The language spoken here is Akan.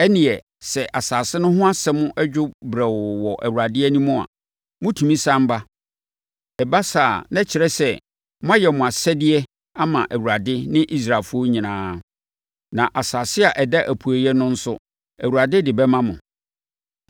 ɛnneɛ, sɛ asase no ho asɛm dwo brɛoo wɔ Awurade anim a, motumi sane ba. Ɛba saa a, na ɛkyerɛ sɛ, moayɛ mo asɛdeɛ ama Awurade ne Israelfoɔ nyinaa. Na asase a ɛda apueeɛ no nso, Awurade de bɛma mo.